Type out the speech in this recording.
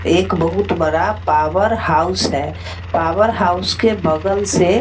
एक बहुत बड़ा पावर हाउस है। पावर हाउस के बगल से --